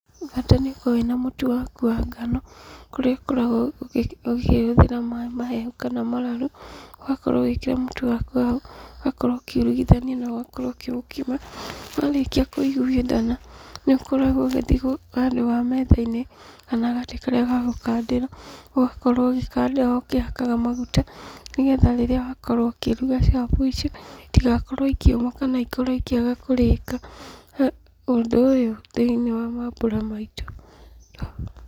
Bata nĩũkorwo wĩ na mũtu waku wa ngano, kũrĩa ũkoragwo ũkĩhũthĩra maaĩ mahehu kana mararu, ũgakorwo ũgĩkĩra mũtu waku hau, ũgakorwo ũkiurugugithania na ũgakorwo ũkĩũkima, warĩkia kũiguithana, nĩũkoragwo ũgĩthiĩ handũ metha-inĩ, kana gatĩ karĩa gagũkandĩra, ũgakorwo ũgĩkandĩra ho ũkĩhakaga maguta, nĩgetha rĩrĩa wakorwo ũkĩruga capo icio, itigakorwo ikĩũma kana ikorwo ikĩaga kũrĩka, ũndũ ũyũ thĩiniĩ wa mambura maitũ.